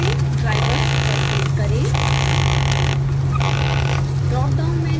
बाएं पैनल में drivers पर क्लिक करें